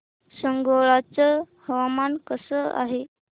सांगोळा चं हवामान कसं आहे